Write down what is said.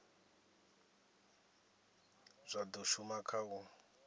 zwa do shuma kha u